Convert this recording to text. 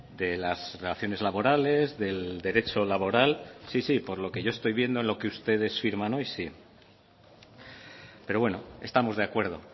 de las relaciones laborales del derecho laboral sí si por lo que yo estoy viendo en lo que ustedes firman hoy sí pero bueno estamos de acuerdo